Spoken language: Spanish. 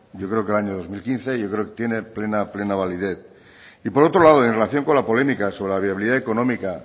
yo creo que en el año dos mil quince y creo que tiene plena validez por otro lado y en relación con la polémica sobre la viabilidad económica